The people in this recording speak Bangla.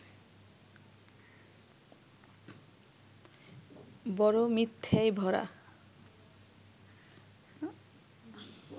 বড় মিথ্যেয় ভরা